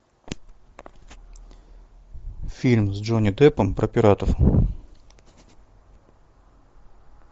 фильм с джонни деппом про пиратов